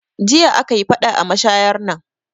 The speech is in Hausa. Jiya aka yi faɗa a mashayar nan